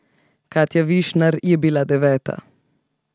Katja Višnar je bila deveta.